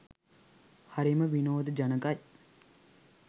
හරිම විනෝදජනකයි.